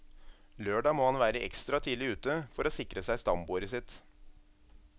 Lørdag må han være ekstra tidlig ute, for å sikre seg stambordet sitt.